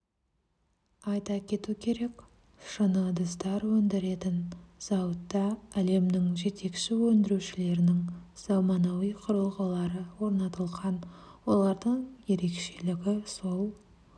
айта кету керек шыны ыдыстар өндіретін зауытта әлемнің жетекші өндірушілерінің заманауи құрылғылары орнатылған олардың ерекшелігі сол